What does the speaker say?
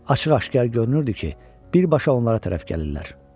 Açıq-aşkar görünürdü ki, birbaşa onlara tərəf gəlirlər.